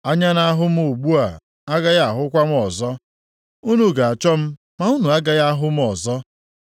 Anya na-ahụ m ugbu a agaghị ahụkwa m ọzọ; unu ga-achọ m ma unu agaghị a hụ m ọzọ.